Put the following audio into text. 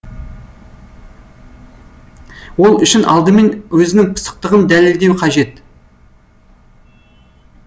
ол үшін алдымен өзінің пысықтығын дәлелдеу қажет